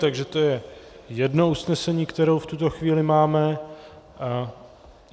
Takže to je jedno usnesení, které v tuto chvíli máme.